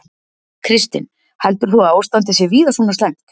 Kristinn: Heldur þú að ástandið sé víða svona slæmt?